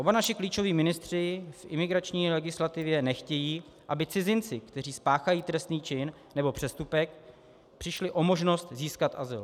Oba naši klíčoví ministři v imigrační legislativě nechtějí, aby cizinci, kteří spáchají trestný čin nebo přestupek, přišli o možnost získat azyl.